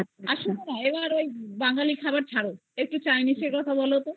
আর শোনোনা ওই বাঙালি খাবার ছাড়ো একটু chinese এর তা বলো তো